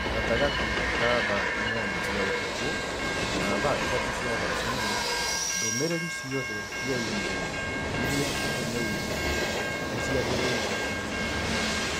gatagatĩ ka thaa inyanya cia ũtukũ na thaa ithatũ cia rũcinĩ, ndũmĩrĩri ciothe cia i-mīrū iria tũtũmĩirũo nĩ ciagĩrĩirũo gũcokio